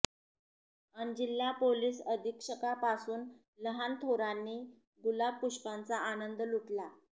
अन् जिल्हा पोलिस अधीक्षकांपासून लहान थोरांनी गुलाब पुष्पांचा आनंद लुटला